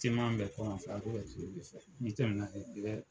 Timan bɛ kɔlɔn fɛ ko bɛ tile de fɛ n'i tɛmɛna i bɛ